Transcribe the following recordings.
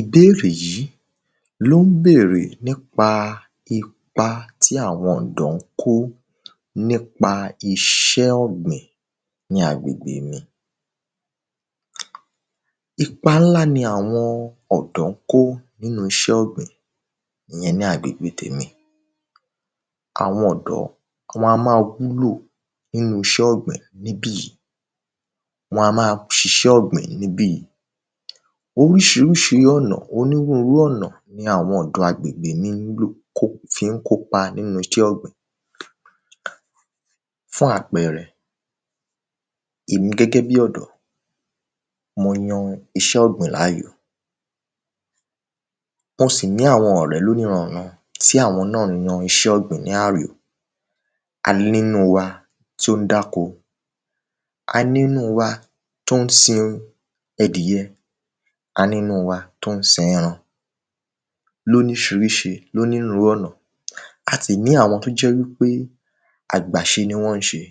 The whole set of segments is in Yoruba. Ìbérè yí ló ń bèrè nípa ipa tí àwọn ọ̀dọ́ ń kó nípa iṣẹ́ ọ̀gbìn ní agbègbè mi. Ipá ńlá ni àwọn ọ̀dọ́ ń kó ní inú iṣẹ́ ọ̀gbìn ní agbègbè mi. Àwọn ọ̀dọ́ wọn a máa wúlò nínú iṣẹ́ ọ̀gbìn níbì yí. Wọn a má a ṣiṣẹ́ ọ̀gbìn níbì yí. Oríṣiríṣi ọ̀nà onírúurú ọ̀nà ni àwọn ọ̀dọm agbègbè mí wúlò kó fi ń kópa nínú iṣẹ́ ọ̀gbìn. Fún àpẹrẹ, èmi gbẹ́gbẹ́ bí ọ̀dọ́ mo yan iṣẹ́ ọ̀gbìn láyò. Mo sì ní àwọn ọ̀rẹ́ lóníran-ǹ-ran tí àwọn náà yan iṣẹ́ ọ̀gbìn láyò. A ní nínú wa tí ó ń dáko. A ní ńnú wa tó ń sin ẹdìẹ. A ní nínú wa tó ń sinran. Lóríṣiríṣi lónírúurú ọ̀nà. A sì ní àwọn tó jẹ́ wípé àgbàṣe ni wọ́n ń ṣe.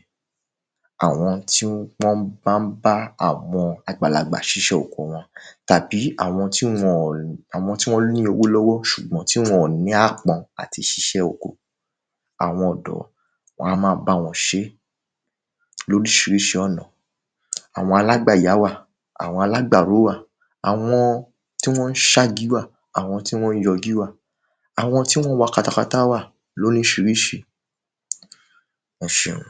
Àwọn tí wọ́n bá ń bá àwọn àgbàlagbà ṣiṣẹ́ oko wọn. Tabí àwọn tí wọ́n ní àwọn ti wọ́n ni owó lọ́wọ́ ṣùbgbọ́n tí wọn-ọ̀n ní apọn láti ṣiṣẹ́ oko. Àwọn ọ̀dọ́ wọn a máa bá wọn ṣé. Lóríṣíríṣí ọ̀nà. Àwọn alágabàyá wà, àwọn alágbàró wà. Àwọn tí wọ́n ń ságí wà, àwọn tí wọ́n ń jọ igí wà. Àwọn tí wọ́n ń wa katakata wà lórísirísi. Ẹ ṣeun.